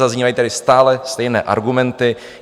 Zaznívají tady stále stejné argumenty.